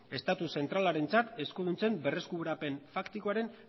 estatu zentralarentzat eskuduntzen berreskurapen faktikoaren